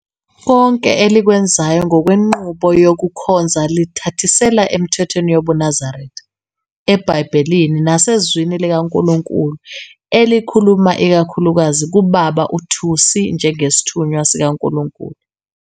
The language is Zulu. Konke elikwenzayo ngokwenqubo yokukhonza lithathisela emithethweni yobuNazaretha, ebhayibhelini nasezwini likaNkulunkulu elikhuluma ikakhulukazi kuBaba uThusi njengesithunywa sikaNkulunkulu.